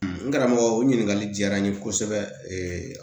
n karamɔgɔ o ɲininkali diyara n ye kosɛbɛ